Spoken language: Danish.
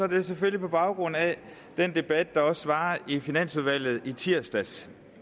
det selvfølgelig på baggrund af den debat der også var i finansudvalget i tirsdags